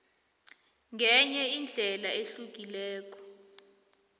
ngenye indlela ehlukileko